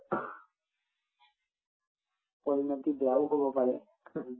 পৰিণতি বেয়াও হব পাৰে